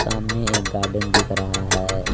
सामने एक गार्डन दिख रहा है।